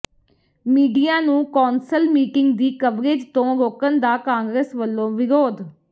media ਨੂੰ council meeting ਦੀ coverage ਤੋਂ ਰੋਕਣ ਦਾ ਕਾਂਗਰਸ ਵੱਲੋਂ ਵਿਰੋਧ